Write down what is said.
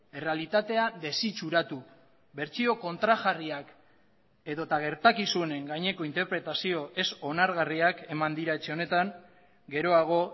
errealitatea desitxuratu bertsio kontrajarriak edota gertakizunen gaineko interpretazio ez onargarriak eman dira etxe honetan geroago